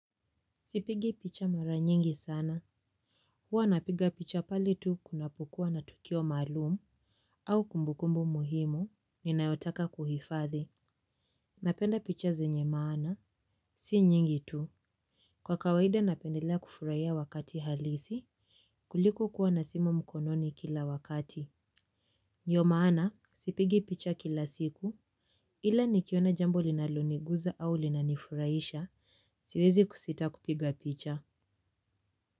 Sipigi picha mara nyingi sana. Huwa napiga picha pale tu kunapokuwa na tukio maalumu. Au kumbukumbu muhimu, ninayotaka kuhifadhi. Napenda picha zenye maana. Si nyingi tu. Kwa kawaida napendelea kufurahia wakati halisi kuliko kuwa na simu mkononi kila wakati. Ndiyo maana, sipigi picha kila siku. Ila nikiona jambo linaloniguza au linanifurahisha siwezi kusita kupiga picha.